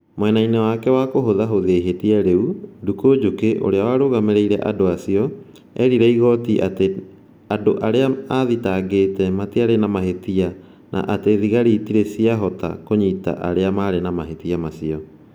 Mwena-inĩ wake wa kũhũthahũthia ihĩtia rĩu, Nduku Njuki, ũrĩa warũgamĩrĩire andũ acio, eerire igooti atĩ andũ arĩa aathitangĩte matiarĩ na mahĩtia na atĩ thigari itiarĩ ciahota kũnyita arĩa maarĩ na mahĩtia macio.